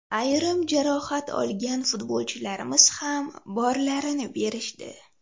Ayrim jarohat olgan futbolchilarimiz ham borlarini berishdi.